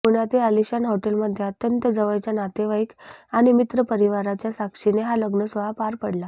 पुण्यातील अलिशान हॉटेलमध्ये अत्यंत जवळच्या नातेवाईक आणि मित्रपरिवाराच्या साक्षीने हा लग्नसोहळा पार पडला